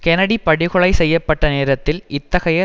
Kennedy படுகொலை செய்ய பட்ட நேரத்தில் இத்தகைய